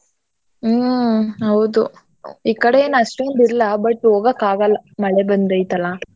ಹ್ಮ್ ಹೌದು . ಈಕಡೆ ಏನ್ ಅಷ್ಟೋಂದ್ ಇಲ್ಲ but ಹೋಗಕ್ ಆಗಲ್ಲ ಮಳೆ ಬಂದೈತಲ್ಲಾ.